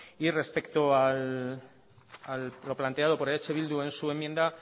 y respecto a lo planteado por eh bildu en su enmienda